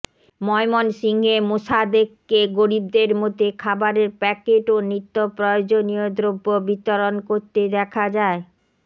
ময়মনসিংহে মোসাদ্দেককে গরিবদের মধ্যে খাবারের প্যাকেট ও নিত্যপ্রয়োজনীয় দ্রব্য বিতরণ করতে দেখা